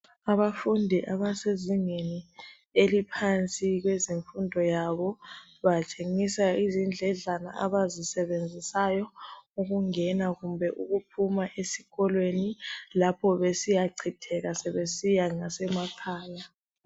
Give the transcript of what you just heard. Abafundi abasezingeni eliphansi kwezemfundo yabo, batshengiswa izindledlana abazisebenzisayo ukungena kumbe ukuphuma esikolweni lapho besiyachitheka sebesiya ngasemakhaya.